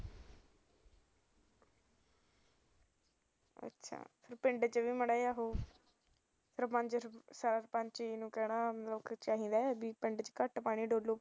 ਪਿੰਡ ਚ ਵੀ ਮਾੜਾ ਜਿਹਾ ਸਰਪੰਚ ਨੂੰ ਕਹਿਣਾ ਚਾਹੀਦਾ ਐ ਕੀ ਪਿੰਡ ਚ ਘੱਟ ਪਾਣੀ ਡੋਲੋ